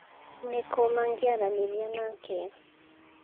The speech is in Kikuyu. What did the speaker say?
Nĩ kũ mangĩaranĩria nake?